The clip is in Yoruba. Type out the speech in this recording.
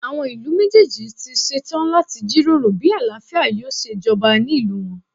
Àwọn ìlú méjèèjì ti ṣe tán láti jíròrò bí àlàáfíà yóò ṣe jọba ní ìlú wọn.